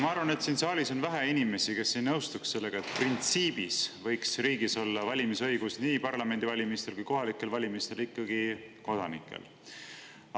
Ma arvan, et siin saalis on vähe inimesi, kes ei nõustuks sellega, et printsiibis võiks riigis olla valimisõigus nii parlamendivalimistel kui ka kohalikel valimistel vaid kodanikel.